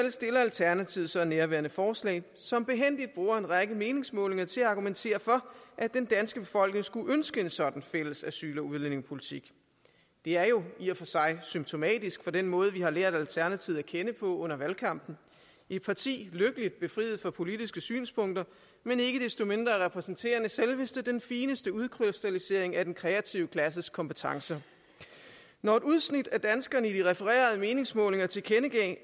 alternativet så nærværende forslag som behændigt bruger en række meningsmålinger til at argumentere for at den danske befolkning skulle ønske en sådan fælles asyl og udlændingepolitik det er jo i og for sig symptomatisk for den måde vi har lært alternativet at kende på under valgkampen et parti lykkeligt befriet for politiske synspunkter men ikke desto mindre repræsenterende selveste den fineste udkrystallisering af den kreative klasses kompetencer når et udsnit af danskerne i de refererede meningsmålinger tilkendegiver at